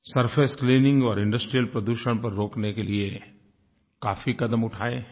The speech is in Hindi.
सरफेस क्लीनिंग और इंडस्ट्रियल प्रदूषण पर रोकने के लिए काफी कदम उठाए हैं